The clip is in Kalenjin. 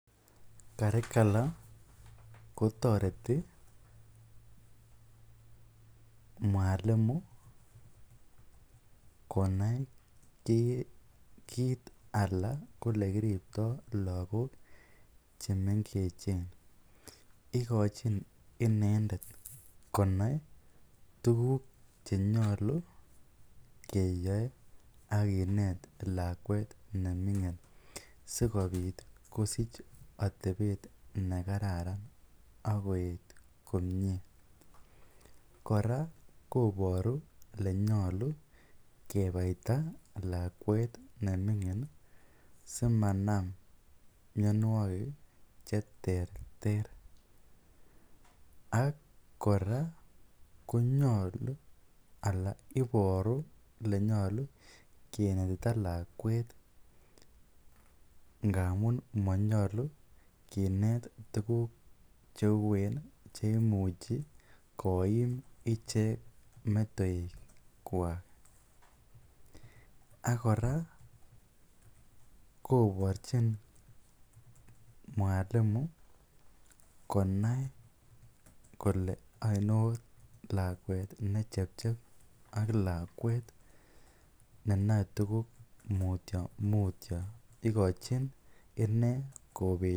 Curricular kotoreti mwalimu konai kiit alaa ko elekiripto lokok chemengechen, ikochin inendet konai tukuk chenyolu keyoe ak kinet lakwet nemingin sikobit kosich atebet nekararan ak koyet komnye, kora koboru elenyolu kebaita lakwet ne mingin simanam mionwokik cheterter ak kora konyolu alaa iboru elenyolu kinetita lakwet ngamun monyolu kinet tukuk cheuen cheimuchi koim ichek metoekwak, ak kora koborchin mwalimu konai kolee ainon lakwet ne chepchep ak lakwet nenoe tukuk mutio mutio ikochin inee kobet.